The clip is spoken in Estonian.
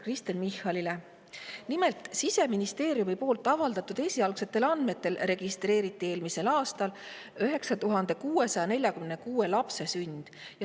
Nimelt, Siseministeeriumi avaldatud esialgsetel andmetel registreeriti eelmisel aastal 9646 lapse sünd.